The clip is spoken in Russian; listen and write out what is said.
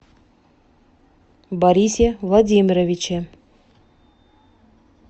борисе владимировиче